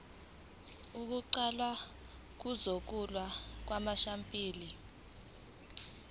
kuqala ukuhlolwa kwamasampuli